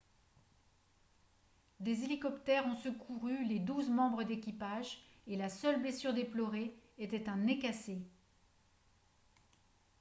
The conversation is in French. des hélicoptères ont secouru les douze membres d'équipage et la seule blessure déplorée était un nez cassé